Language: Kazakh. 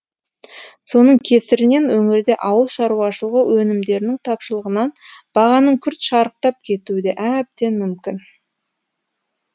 соның кесірінен өңірде ауыл шаруашылығы өнімдерінің тапшылығынан бағаның күрт шарықтап кетуі де әбден мүмкін